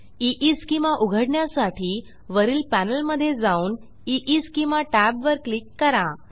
ईस्केमा उघडण्यासाठी वरील पॅनेलमधे जाऊन ईस्केमा टॅबवर क्लिक करा